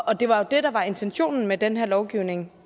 og det var jo det der var intentionen med den her lovgivning